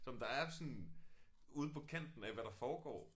Som der er sådan ude på kanten af hvad der foregår